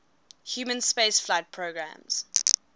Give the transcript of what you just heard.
human spaceflight programmes